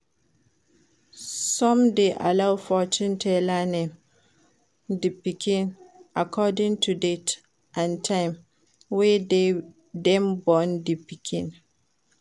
Some de allow fortune teller name di pikin according to date and time wey dem born di pikin